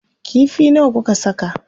Kifi nawa kuka saka?